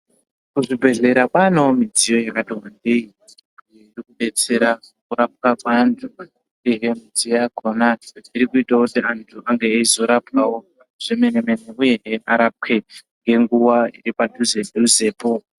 Kuzvibhedhlera kwanewo midziyo yakati wandei inodetsera kurapa vantu, uyehe midziyo yakona iri kuitawo kuti vantu vange veizorapwawo zvemene mene, uyehe varapwe ngenguwa iri padhuze dhuzepo.